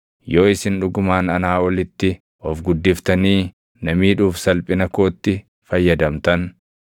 Yoo isin dhugumaan anaa olitti of guddiftanii na miidhuuf salphina kootti fayyadamtan,